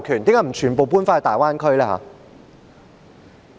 為何不全部搬到大灣區？